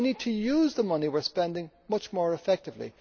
So we need to use the money we are spending much more effectively.